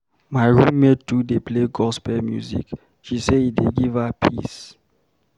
My roommate too dey play gospel music, she say e dey give her peace.